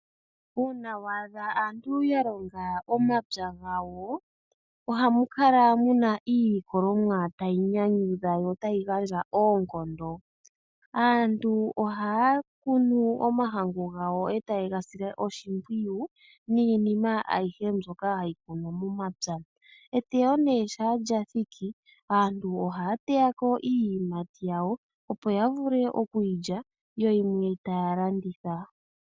Uuna waadha aantu ya longa omapya gawo, ohamu kala muna iilikolomwa tayi nyanyudha yo tayi gandja oonkondo. Aantu ohaya kunu omahangu gawo etaye ga sile oshimpwiyu, niinima ayihe mbyoka hayi kunwa momapya. Eteyo nee shaa lya thiki, aantu ohaya teyako iiyimati yayo opo ya vule okuyi lya, yo yimwe taya landitha.